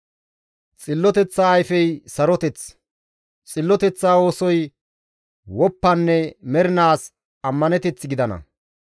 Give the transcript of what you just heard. Xilloteththa ayfey saroteth; xilloteththa oosoy woppanne mernaas ammaneteth gidana.